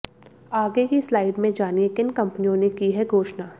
आगे की स्लाइड में जानिए किन कंपनियों ने की है घोषणा